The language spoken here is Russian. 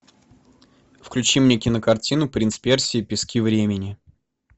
включи мне кинокартину принц персии пески времени